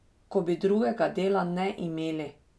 Ko bi drugega dela ne imeli!